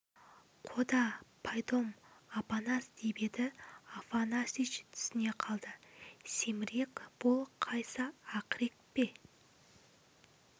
қода пайдом апанас деп еді афанасьич түсіне қалды семірек бұл қайсы ақірек пе